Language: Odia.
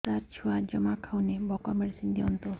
ସାର ଛୁଆ ଜମା ଖାଉନି ଭୋକ ମେଡିସିନ ଦିଅନ୍ତୁ